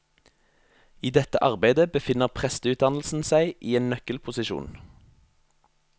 I dette arbeidet befinner presteutdannelsen seg i en nøkkelposisjon.